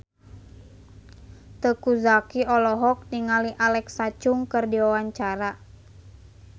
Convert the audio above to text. Teuku Zacky olohok ningali Alexa Chung keur diwawancara